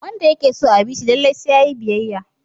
Wanda yake so a bi shi lallai sai yayi biyayya.